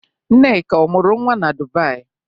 Nneka, ọ mụrụ nwa na Dubai?